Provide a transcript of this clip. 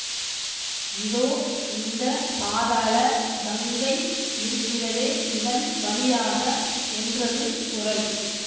இதோ இந்த பாதாள கங்கை இருக்கிறதே இதன் வழியாக என்றது குரல்